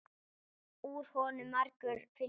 Úr honum margur fylli fær.